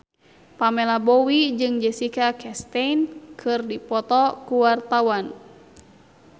Pamela Bowie jeung Jessica Chastain keur dipoto ku wartawan